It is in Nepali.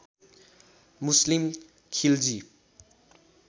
मुस्लिम खिलजी